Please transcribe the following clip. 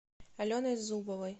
аленой зубовой